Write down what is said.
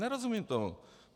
Nerozumím tomu.